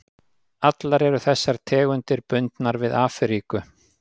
Allar eru þessar tegundir bundnar við Afríku.